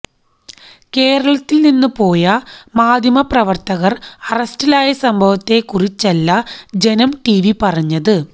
കേരളത്തിൽ നിന്ന് പോയ മാധ്യമപ്രവർത്തകർ അറസ്റ്റിലായ സംഭവത്തെ കുറിച്ചല്ല ജനം ടിവി പറഞ്ഞത്